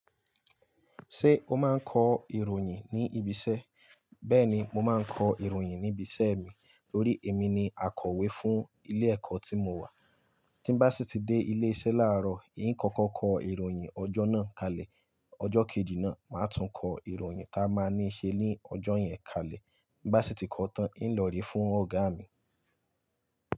Ṣé o máa ń kọ ìròyìn ní ibi iṣẹ́? Bẹ́ẹ̀ni mo máa ń kọ ìròyìn ní ibi iṣẹ́ mi, torí èmi ni akọ̀wé fún ilé ẹ̀kọ́ tí mo wà. Tí bá sì tí dé ilé iṣẹ́ láàárọ̀, ì ń kọ́kọ́ kọ ìròyìn ọjọ́ náà kalẹ̀. Ọjọ́ kejì náà, màá tún kọ ìròyìn ta máa ní ṣe ní ọjọ́ yẹn kalẹ̀. Tí n bá sì tí kọ tán, ì ń lọ rí fún ọ̀gá mi.